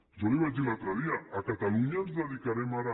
jo li ho vaig dir l’altre dia a catalunya ens dedicarem ara